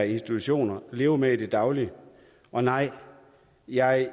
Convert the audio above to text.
institutioner lever med i det daglige og nej jeg